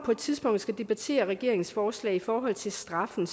på et tidspunkt skal debattere regeringens forslag i forhold til straffen